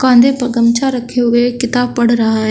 कान्धे पर गमछा रखे हुए एक किताब पढ़ रहा है।